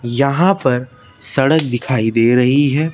यहां पर सड़क दिखाई दे रही है।